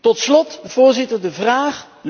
Tot slot, voorzitter, een vraag.